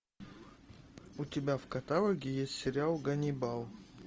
у тебя в каталоге есть сериал ганнибал